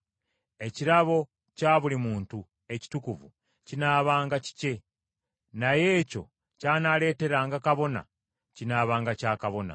Ekirabo kya buli muntu ekitukuvu kinaabanga kikye, naye ekyo ky’anaaleeteranga kabona kinaabanga kya kabona.’ ”